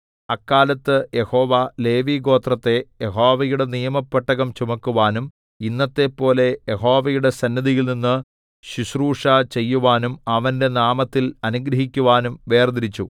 അക്കാലത്ത് യഹോവ ലേവിഗോത്രത്തെ യഹോവയുടെ നിയമപ്പെട്ടകം ചുമക്കുവാനും ഇന്നത്തെപ്പോലെ യഹോവയുടെ സന്നിധിയിൽനിന്ന് ശുശ്രൂഷ ചെയ്യുവാനും അവന്റെ നാമത്തിൽ അനുഗ്രഹിക്കുവാനും വേർതിരിച്ചു